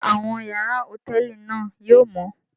Ṣe awọn yàrá hotẹẹli náà yóò mọ?